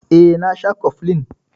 Eh, na sha koflin.